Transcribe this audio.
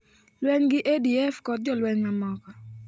Lweny gi ADF kod jolweny mamoko.